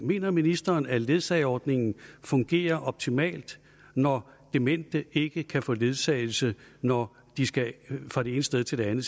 mener ministeren at ledsageordningen fungerer optimalt når demente ikke kan få ledsagelse når de skal fra det ene sted til det andet